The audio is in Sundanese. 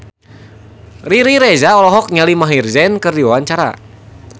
Riri Reza olohok ningali Maher Zein keur diwawancara